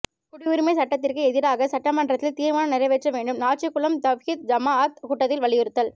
குடியுரிமை சட்டத்திற்கு எதிராக சட்டமன்றத்தில் தீர்மானம் நிறைவேற்ற வேண்டும் நாச்சிகுளம் தவ்ஹீத் ஜமாஅத் கூட்டத்தில் வலியுறுத்தல்